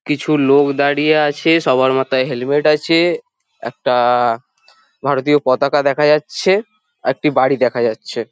কিছু লোক দাঁড়িয়ে আছে সবার মাথায় হেলমেট আছে একটা আ ভারতীয় পতাকা দেখা যাচ্ছে একটি বাড়ি দেখা যাচ্ছে।